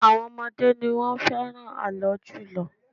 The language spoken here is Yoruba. Àwọn ọmọdé ni wọ́n fẹ́ràn ààlọ́ jùlọ